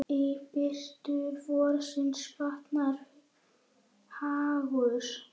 Í birtu vorsins batnar hagur.